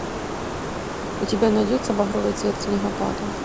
у тебя найдется багровый цвет снегопада